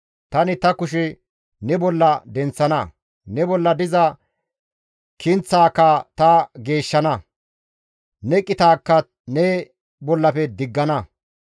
Tani ta kushe ne bolla denththana; ne bolla diza kinththaka ta geeshshana; ne qitaakka ne bollafe diggana.